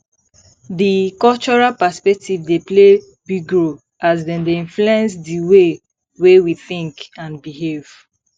di cultural perspectives dey play big role as dem dey influence di way wey we think and behave